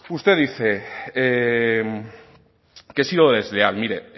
usted dice que sí lo desea mire